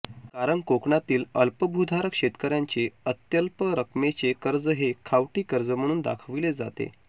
कारण कोकणातील अल्पभूधारक शेतकर्यांचे अत्यल्प रकमेचे कर्ज हे खावटी कर्ज म्हणून दाखवले जाते